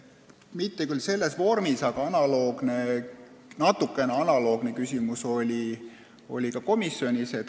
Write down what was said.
Mitte küll päris samasuguse sisuga, aga natukene analoogne küsimus kõlas ka komisjonis.